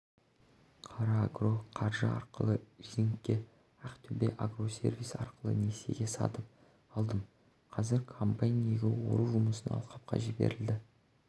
қарагроқаржы арқылы лизингке ақтөбеагросервис арқылы несиеге сатып алдым қазір комбайн егін ору жұмысына алқапқа жіберілді